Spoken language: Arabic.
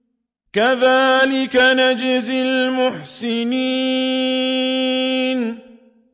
كَذَٰلِكَ نَجْزِي الْمُحْسِنِينَ